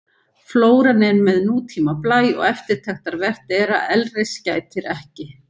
Flóran er með nútíma blæ og eftirtektarvert er að elris gætir ekki.